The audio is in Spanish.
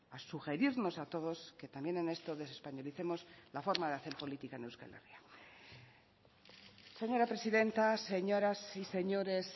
a sugerirnos a todos que también en esto desespañolicemos la forma de hacer política en euskal herria señora presidenta señoras y señores